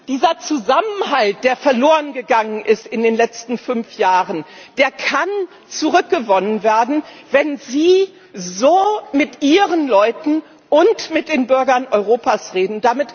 Dieser Zusammenhalt, der verlorengegangen ist in den letzten fünf Jahren, kann zurückgewonnen werden, wenn Sie so mit Ihren Leuten und mit den Bürgern Europas reden.